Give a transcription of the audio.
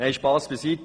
Spass beiseite.